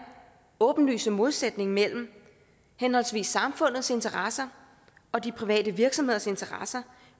åbenlyse modsætning mellem henholdsvis samfundets interesser og de private virksomheders interesser